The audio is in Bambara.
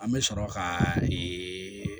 An bɛ sɔrɔ ka ee